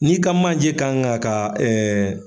N'i ka manje ka kan ka .